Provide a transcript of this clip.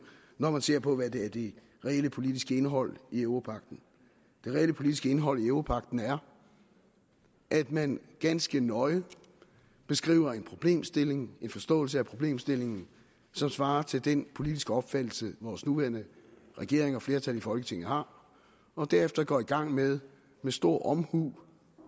når man ser på hvad der er det reelle politiske indhold i europagten det reelle politiske indhold i europagten er at man ganske nøje beskriver en problemstilling en forståelse af problemstillingen som svarer til den politiske opfattelse vores nuværende regering og flertal i folketinget har derefter går man i gang med med stor omhu